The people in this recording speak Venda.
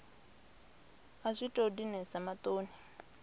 a zwi tou dinesa maṱoni